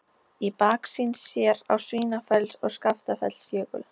Í baksýn sér á Svínafells- og Skaftafellsjökul.